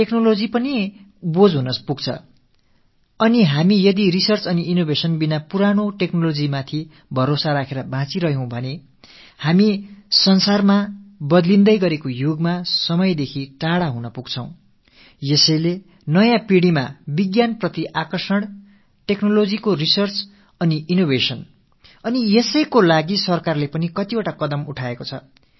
நாம் ஆராய்ச்சிகளும் புதுமைகளும் மேற்கொள்ளாமல் பழைய தொழில்நுட்பத்தையே சார்ந்திருப்போமேயானால் மாறி வரும் யுகத்தில் நாம் காலாவதியாகி விடுவோம் ஆகையால் அறிவியலின் பால் நாட்டம் தொழில்நுட்பம் ஆராய்ச்சியின் பால் ஈர்ப்பு ஆகியவற்றை நமது இளைய சமுதாயத்தினர் மனதில் விதைக்க வேண்டும் அரசு இதற்கென பல முயற்சிகளை மேற்கொண்டு வருகிறது